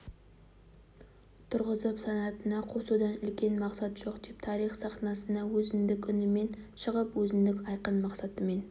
тұрғызып санатына қосудан үлкен мақсат жоқ деп тарих сахнасына өзіндік үнімен шығып өзіндік айқын мақсатымен